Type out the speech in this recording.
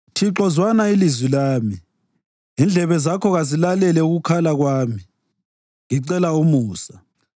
Thixo, zwana ilizwi lami. Indlebe zakho kazilalele ukukhala kwami ngicela umusa.